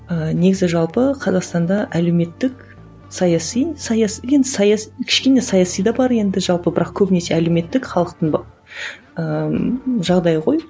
ііі негізі жалпы қазақстанда әлеуметтік саяси енді кішкене саяси да бар енді жалпы бірақ көбінесе әлеуметтік халықтың ыыы жағдайы ғой